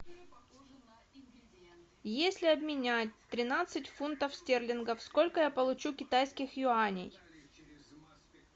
если обменять тринадцать фунтов стерлингов сколько я получу китайских юаней